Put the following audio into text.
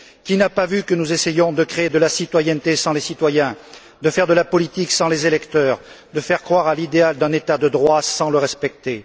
Qui n'a pas vu que nous essayions de créer de la citoyenneté sans les citoyens, de faire de la politique sans les électeurs, de faire croire à l'idéal d'un État de droit sans le respecter?